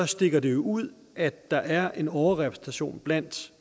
stikker det jo ud at der er en overrepræsentation blandt